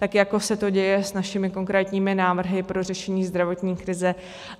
Tak jako se to děje s našimi konkrétními návrhy pro řešení zdravotní krize.